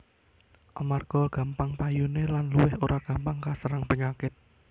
Amarga gampang payuné lan luwih ora gampang kaserang penyakit